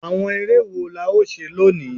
Àwọn eré wo la ó ṣe lónìí?